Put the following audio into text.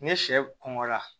Ni sɛ kɔngɔra